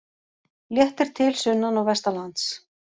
Léttir til sunnan og vestanlands